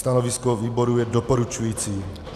Stanovisko výboru je doporučující.